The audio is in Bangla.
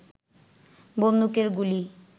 বন্দুকের গুলি